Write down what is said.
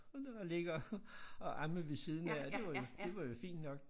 Og det var ligge og og amme ved siden af og det var jo det var jo fint nok